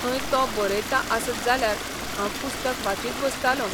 थंय तो बरयता आसत जाल्यार हांव पुस्तक वाचीत बसतालों.